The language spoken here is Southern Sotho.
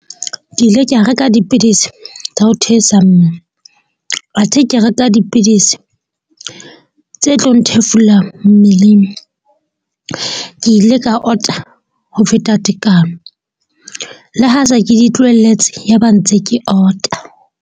Ke ile ka reka dipidisi tsa ho theosa mmele, athe ke reka dipidisi tse tlo nthefula mmeleng. Ke ile ka ota ho feta tekano, le ha se ke di tlohelletse. Yaba ntse ke ota.